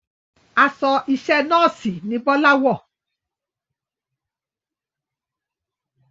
Aṣọ iṣẹ́ nọ́ọ̀sì ni Bọ́lá wọ̀